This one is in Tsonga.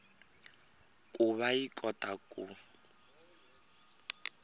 ku va yi kota ku